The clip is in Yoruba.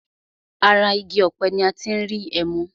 Ara igi ọ̀pẹ ní a tí n rí ẹmu.